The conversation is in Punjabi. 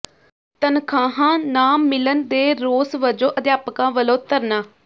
ਤਨਖ਼ਾਹਾਂ ਨਾ ਮਿਲਣ ਦੇ ਰੋਸ ਵਜੋਂ ਅਧਿਆਪਕਾਂ ਵੱਲੋਂ ਧਰਨਾ